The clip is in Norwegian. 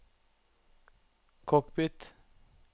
cockpit